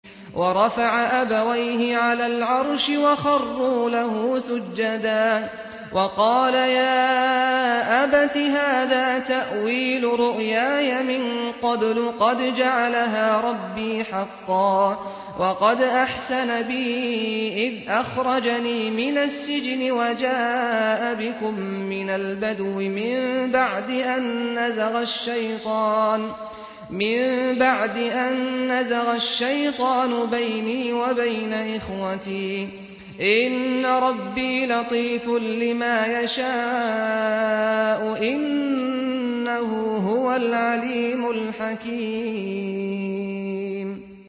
وَرَفَعَ أَبَوَيْهِ عَلَى الْعَرْشِ وَخَرُّوا لَهُ سُجَّدًا ۖ وَقَالَ يَا أَبَتِ هَٰذَا تَأْوِيلُ رُؤْيَايَ مِن قَبْلُ قَدْ جَعَلَهَا رَبِّي حَقًّا ۖ وَقَدْ أَحْسَنَ بِي إِذْ أَخْرَجَنِي مِنَ السِّجْنِ وَجَاءَ بِكُم مِّنَ الْبَدْوِ مِن بَعْدِ أَن نَّزَغَ الشَّيْطَانُ بَيْنِي وَبَيْنَ إِخْوَتِي ۚ إِنَّ رَبِّي لَطِيفٌ لِّمَا يَشَاءُ ۚ إِنَّهُ هُوَ الْعَلِيمُ الْحَكِيمُ